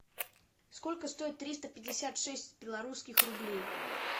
сколько стоит триста пятьдесят шесть белорусских рублей